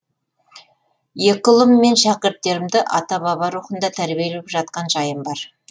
екі ұлым мен шәкірттерімді ата баба рухында тәрбиелеп жатқан жайым бар